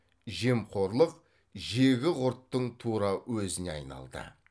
жемқорлық жегі құрттың тура өзіне айналды